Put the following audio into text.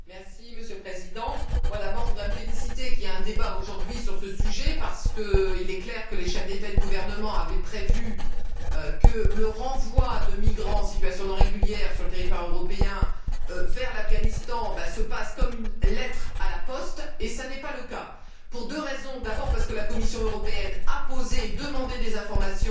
Monsieur le Président, d'abord, je voudrais me féliciter qu'il y ait un débat aujourd'hui sur ce sujet parce qu'il est clair que les chefs d'État et de gouvernement avaient prévu que le renvoi de migrants en situation non régulière sur le territoire européen vers l'Afghanistan se passe comme une lettre à la poste, et ce n'est pas le cas. Pour deux raisons d'abord, parce que la Commission européenne a demandé des informations